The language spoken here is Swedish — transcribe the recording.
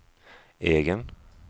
egen